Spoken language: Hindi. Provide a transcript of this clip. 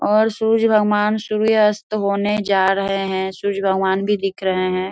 और सूर्य भगवान सूर्य अस्त होने जा रहे हैं सूर्य भगवान भी दिख रहे हैं।